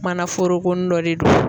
Mana forokonin dɔ de do.